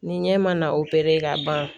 Ni ɲɛ ma na ka ban